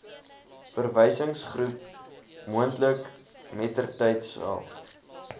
verwysingsgroep moontlik mettertydsal